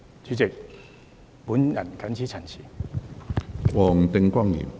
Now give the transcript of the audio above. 主席，我謹此陳辭。